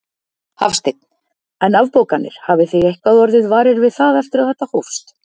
Hafsteinn: En afbókanir, hafið þið eitthvað orðið varir við það eftir að þetta hófst?